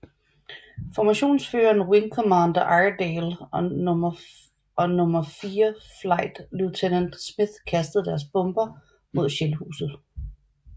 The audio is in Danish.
Formationsføreren wing commander Iredale og nummer fire flight lieutenant Smith kastede deres bomber mod Shellhuset